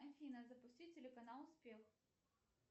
афина запусти телеканал успех